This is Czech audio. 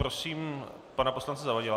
Prosím pana poslance Zavadila.